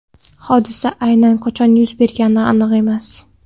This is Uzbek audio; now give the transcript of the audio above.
Hodisa aynan qachon yuz bergani aniq emas.